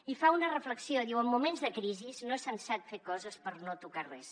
i fa una reflexió diu en moments de crisi no és sensat fer coses per no tocar res